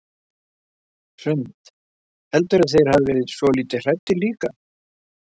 Hrund: Heldurðu að þeir hafi verið svolítið hræddir líka?